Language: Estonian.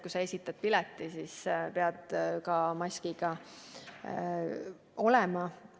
Kui sa esitad pileti, siis pead maskiga olema.